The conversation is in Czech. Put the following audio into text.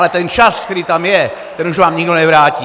Ale ten čas, který tam je, ten už vám nikdo nevrátí.